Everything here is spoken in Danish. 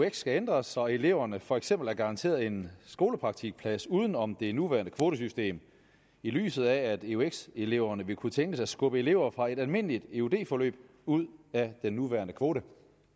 eux skal ændres så eleverne for eksempel er garanteret en skolepraktikplads uden om det nuværende kvotesystem i lyset af at eux eleverne vil kunne tænkes at skubbe elever fra et almindeligt eud forløb ud af den nuværende kvote